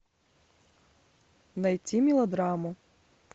найти мелодраму